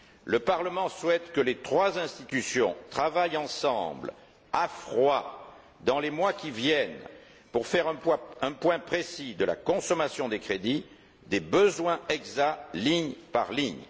Le Parlement souhaite que les trois institutions travaillent ensemble, à froid, dans les mois qui viennent pour faire un point précis de la consommation des crédits, des besoins exacts, ligne par ligne.